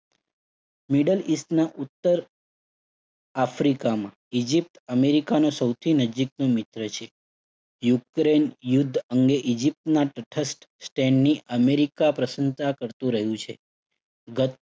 Middle East ના ઉત્તર આફ્રિકામાં ઈજીપ્ત અમેરિકાના સૌથી નજીકનું મિત્ર છે. યુક્રેઇન યુદ્ધ અંગે ઈજીપ્તના તટસ્થ stand ની અમેરિકા પ્રશંસા કરતુ રહ્યું છે. ગત